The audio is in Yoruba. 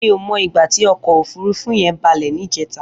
Mi ó mó igbà ti ọkọ ófùrùfù yèn bàlẹ nijètá